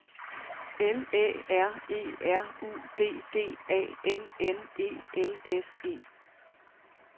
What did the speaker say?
L Æ R E R U D D A N N E L S E